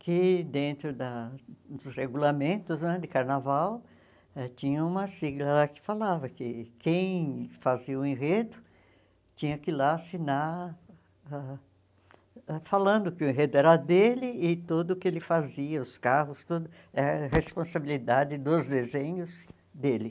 que, dentro da dos regulamentos né de carnaval, tinha uma sigla lá que falava que quem fazia o enredo tinha que ir lá assinar, falando que o enredo era dele e tudo o que ele fazia, os carros, tudo era responsabilidade dos desenhos dele.